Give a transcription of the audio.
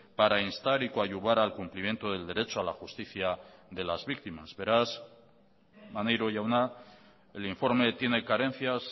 para instar y coadyuvar al cumplimiento del derecho a la justicia de las víctimas beraz maneiro jauna el informe tiene carencias